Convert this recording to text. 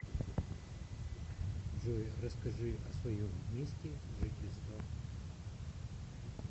джой расскажи о своем месте жительства